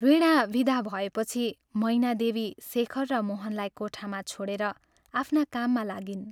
वीणा विदा भएपछि मैनादेवी शेखर र मोहनलाई कोठामा छोडेर आफ्ना काममा लागिन्।